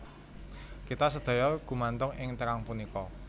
Kita sedaya gumantung ing terang punika